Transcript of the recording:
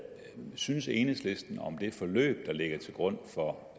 synes enhedslisten om det forløb der ligger til grund for